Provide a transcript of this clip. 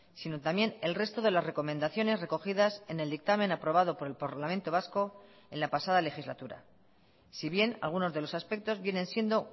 sino también el resto de las recomendaciones recogidas en el dictamen aprobado por el parlamento vasco en la pasada legislatura si bien algunos de los aspectos vienen siendo